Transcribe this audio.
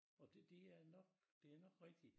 Og det det er nok det nok rigtig